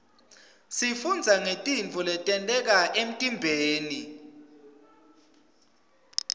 sifundza ngetintfo letenteka emtiimbeni